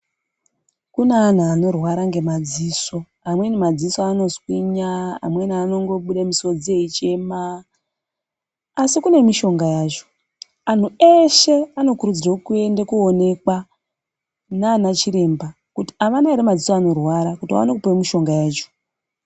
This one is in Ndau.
Kune antu anorwara ngemadziso. Amweni madziso anoswinya, amweni anongobuda misodzi eichema, asi kune mishonga yacho. Antu eshe anokurudzirwe kuende koonekwa nanachiremba kuti avana here maziso anorwara kuti vaone kupuwa mishonga yacho.